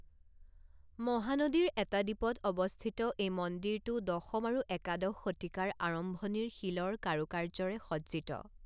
মহানদীৰ এটা দ্বীপত অৱস্থিত এই মন্দিৰটো দশম আৰু একাদশ শতিকাৰ আৰম্ভণিৰ শিলৰ কাৰুকাৰ্যৰে সজ্জিত।